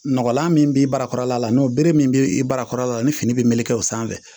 Nɔgɔlan min b'i barakɔrɔla la n'o bere min bɛ i barakɔrɔla la ni fini bɛ meleke o sanfɛ